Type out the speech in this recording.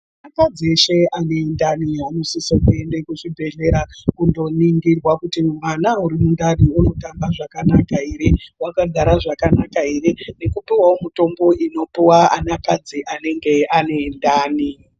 Akadzi eshe anendani anosizirwa kuende kuzvibhedhlera kunoningirwa kuti mwana arimundani unotamba zvakanaka here ,wakagara zvakanaka here nekupihwawo mitombo unopuhwa anhukadzi anenge aine ana mundani.